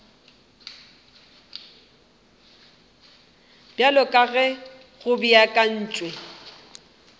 bjalo ka ge go beakantšwe